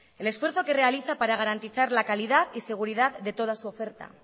el esfuerzo que realiza para garantizar la calidad y seguridad de toda su oferta